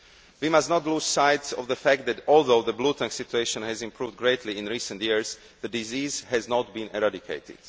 We must not lose sight of the fact that, although the bluetongue situation has improved greatly in recent years, the disease has not been eradicated.